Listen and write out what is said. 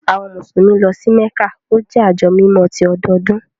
Àwọn Musulumi lọ sí Mekka, o jẹ ajo mímọ̀ tì ọdọọdun.